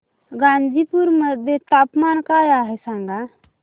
गाझीपुर मध्ये तापमान काय आहे सांगा